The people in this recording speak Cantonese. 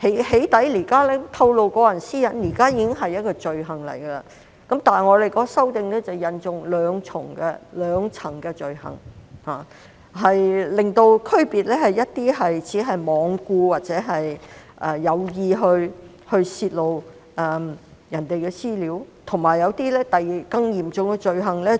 "起底"或透露個人私隱現時已是一項罪行，但修訂引入兩層罪行，以區分泄露他人資料，而只是罔顧導致傷害或有意導致傷害的罪行；以及更嚴重的、造成嚴重傷害的罪行。